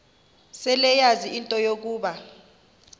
seleyazi into yokuba